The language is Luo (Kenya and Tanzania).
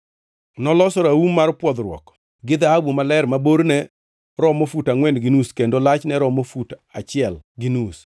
Noloso raum mar pwodhruok gi dhahabu maler ma borne romo fut angʼwen gi nus kendo lachne romo fut achiel gi nus.